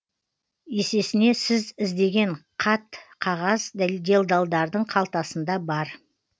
есесіне сіз іздеген қат қағаз делдалдардың қалтасында бар